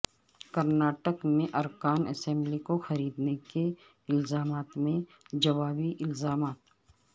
کرناٹک میں ارکان اسمبلی کو خریدنے کے الزامات و جوابی الزامات